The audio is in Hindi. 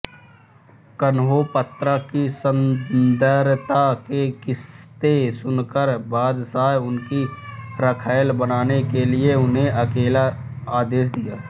कन्होपत्रा की सुंदरता के किस्से सुनकर बादशाह उसकी रखैल बनने के लिए उसे आदेश दिया